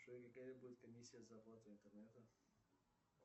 джой какая будет комиссия за оплату интернета